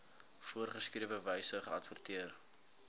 voorgeskrewe wyse geadverteer